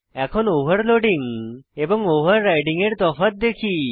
এখন ওভারলোডিং এবং ওভাররাইডিং এর তফাৎ দেখি